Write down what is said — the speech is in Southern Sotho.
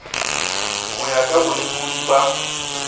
ho ya ka bolekodi ba